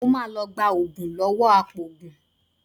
Mo máa lọ gba oògùn lọ́wọ́ apòògùn